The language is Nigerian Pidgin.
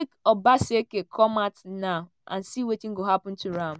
obaseki come out now and see wetin go happun to am.